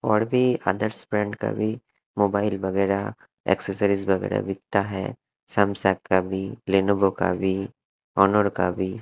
और भी आदर्स ब्रांड का भी मोबाइल वगैरा एसेसरीज वगैरा बिकता है सैमसंग का भी लेनेवो का भी ओनोर का भी--